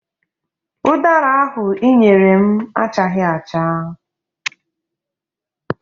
Ụdara ahụ ị nyere m achaghị acha.